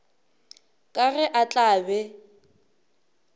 ka ge a tla be